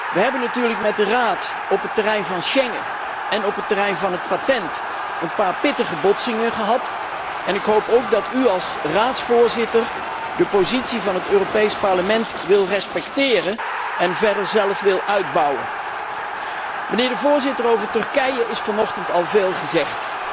Wij hebben natuurlijk met de Raad op het terrein van Schengen en op het terrein van het octrooi een paar pittige botsingen gehad en ik hoop ook dat u als Raadsvoorzitter de positie van het Europees Parlement wilt respecteren en zelf wilt uitbouwen. Mijnheer de voorzitter, over Turkije is vanochtend al veel gezegd.